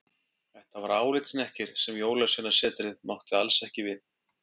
Þetta var álitshnekkir sem Jólasveinasetrið mátti alls ekki við.